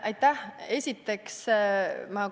Aitäh!